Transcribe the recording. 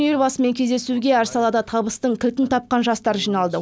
елбасымен кездесуге әр салада табыстың кілтін тапқан жастар жиналды